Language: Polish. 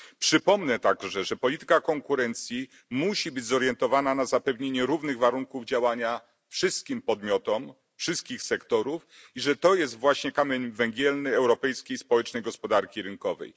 Przypomnę także, że polityka konkurencji musi być zorientowana na zapewnienie równych warunków działania wszystkim podmiotom we wszystkich sektorach i że to jest właśnie kamień węgielny europejskiej społecznej gospodarki rynkowej.